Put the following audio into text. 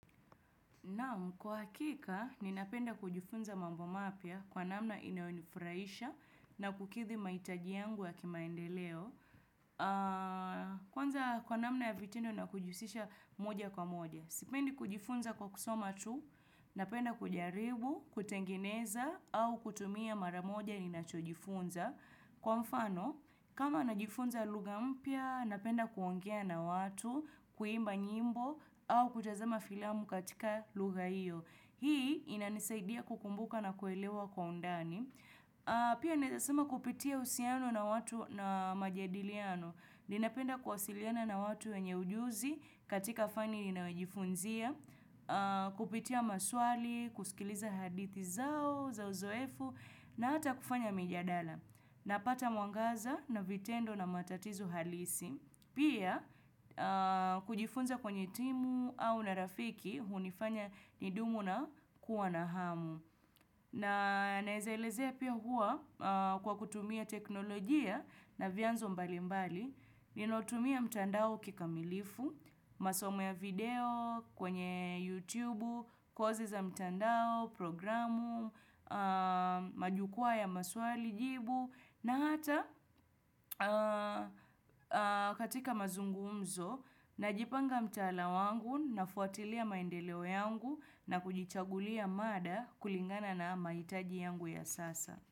Naam, kwa hakika, ninapenda kujifunza mambo mapya kwa namna inayonifurahisha na kukidhi mahitaji yangu ya kimaendeleo. Kwanza kwa namna ya vitendo na kujihusisha moja kwa moja. Sipendi kujifunza kwa kusoma tu, napenda kujaribu, kutengeneza au kutumia mara moja ninachojifunza. Kwa mfano, kama najifunza lugha mpya, napenda kuongea na watu, kuimba nyimbo, au kutazama filamu katika lugha hiyo. Hii inanisaidia kukumbuka na kuelewa kwa undani. Pia naeza sema kupitia uhusiano na watu na majadiliano. Ninapenda kuwasiliana na watu wenye ujuzi katika fani ninayojifunzia, kupitia maswali, kusikiliza hadithi zao, za uzoefu, na hata kufanya mijadala. Napata mwangaza na vitendo na matatizo halisi. Pia kujifunza kwenye timu au na rafiki hunifanya nidumu na kuwa na hamu. Na naeza elezea pia huwa kwa kutumia teknolojia na vyanzo mbalimbali, ninautumia mtandao kikamilifu, masomo ya video kwenye YouTube, kozi za mtandao, programu, majukwaa ya maswali, jibu, na hata katika mazungumzo, najipanga mtala wangu, nafuatilia maendeleo yangu na kujichagulia mada kulingana na mahitaji yangu ya sasa.